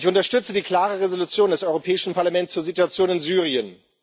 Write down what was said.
Ich unterstütze die klare Resolution des Europäischen Parlaments zur Situation in Syrien.